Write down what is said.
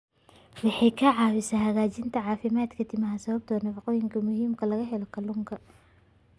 Waxay ka caawisaa hagaajinta caafimaadka timaha sababtoo ah nafaqooyinka muhiimka ah ee laga helo kalluunka.